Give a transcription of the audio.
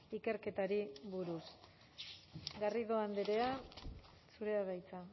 ikerketari buruz garrido andrea zurea da hitza